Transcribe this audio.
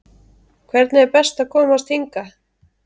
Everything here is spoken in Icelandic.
Hvernig er best að komast hingað?